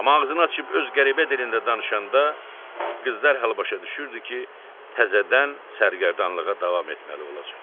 Amma ağzını açıb öz qəribə dilində danışanda, qız dərhal başa düşürdü ki, təzədən sərgərdanlığa davam etməli olacaq.